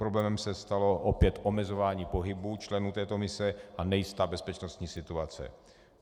Problémem se stalo opět omezování pohybu členů této mise a nejistá bezpečnostní situace.